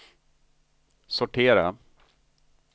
sortera